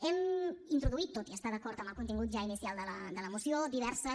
hem introduït tot i estar d’acord amb el contingut ja inicial de la moció diverses